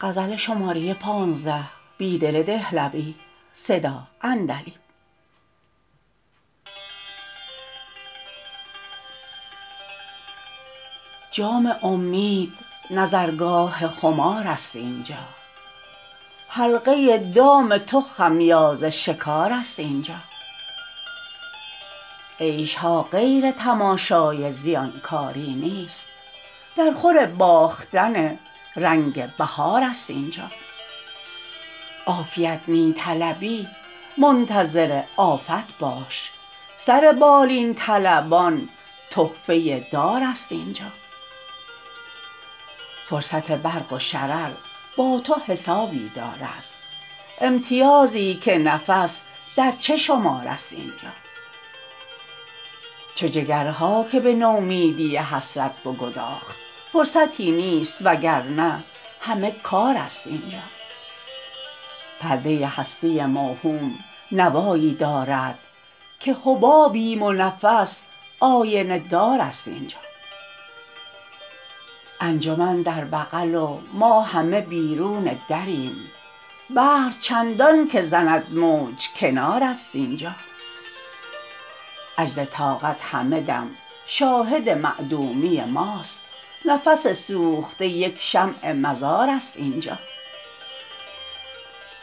جام امید نظرگاه خمار است اینجا حلقه دام تو خمیازه شکار است اینجا عیش ها غیر تماشای زیانکاری نیست درخور باختن رنگ بهار است اینجا عافیت می طلبی منتظر آفت باش سر بالین طلبان تحفه در است اینجا فرصت برق و شرر با تو حسابی دارد امتیازی که نفس در چه شمار است اینجا چه جگرهاکه به نومیدی حسرت بگداخت فرصتی نیست وگرنه همه کار است اینجا پرده هستی موهوم نوایی دارد که حبابیم و نفس آینه دار است اینجا انجمن در بغل و ما همه بیرون دریم بحر چندانکه زند موج کنار است اینجا عجز طاقت همه دم شاهد معدومی ماست نفس سوخته یک شمع مزار است اینجا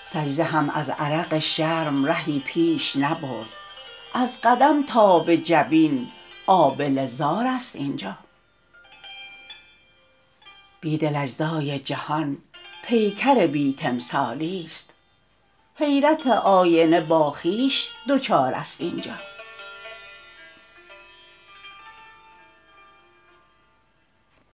سجده هم ازعرق شرم رهی پیش نبرد از قدم تا به جبین آبله زار است اینجا بیدل اجزی جهان پیکر بی تمثالی ست حیرت آینه با خوبش دچار است اینجا